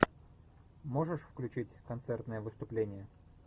можешь включить концертное выступление